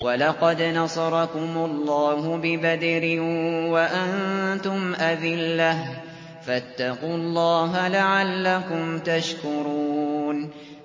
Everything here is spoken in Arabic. وَلَقَدْ نَصَرَكُمُ اللَّهُ بِبَدْرٍ وَأَنتُمْ أَذِلَّةٌ ۖ فَاتَّقُوا اللَّهَ لَعَلَّكُمْ تَشْكُرُونَ